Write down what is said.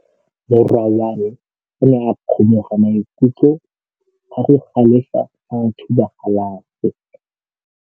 Morwa wa me o ne a kgomoga maikutlo ka go galefa fa a thuba galase.